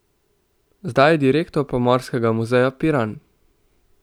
Zdaj je direktor Pomorskega muzeja Piran.